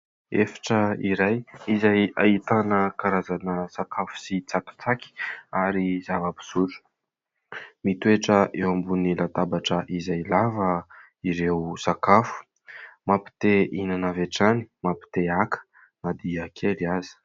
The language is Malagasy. Efitra iray izay ahitana karazana sakafo sy tsakitsaky ary zava-pisotro. Mitoetra eo ambonin'ny latabatra izay lava ireo sakafo, mampite hihinana avy hatrany, mampite haka na dia kely aza.